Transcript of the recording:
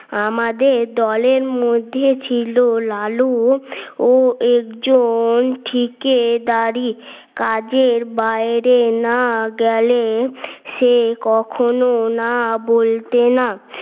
আমাদের দলের মধ্যে ছিল লালু ও একজন ঠিকই দাড়ি, কাজের বাইরে না গেলে সে কখনো না বলতে না